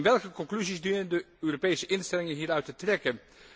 Welke conclusies dienen de Europese instellingen hieruit te trekken?